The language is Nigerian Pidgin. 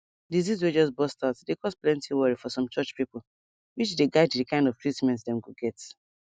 disease way just burst out dey cause plenty worry for some church people which dey guide the kind of treatment dem go get